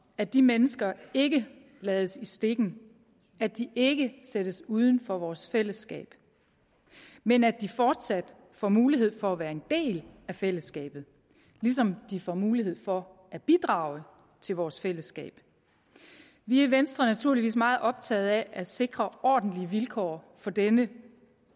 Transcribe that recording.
at de mennesker ikke lades i stikken at de ikke sættes uden for vores fællesskab men at de fortsat får mulighed for at være en del af fællesskabet ligesom de får mulighed for at bidrage til vores fællesskab vi er i venstre naturligvis meget optaget af at sikre ordentlige vilkår for den